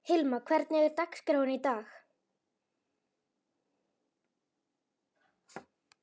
Hilma, hvernig er dagskráin í dag?